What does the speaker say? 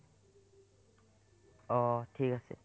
অ অ ঠিক আছে